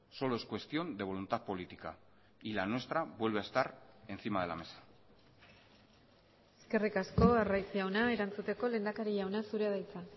solo es cuestión de voluntad política y la nuestra vuelve a estar encima de la mesa eskerrik asko arraiz jauna erantzuteko lehendakari jauna zurea da hitza